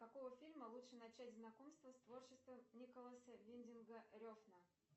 с какого фильма лучше начать знакомство с творчеством николаса виндинга рефна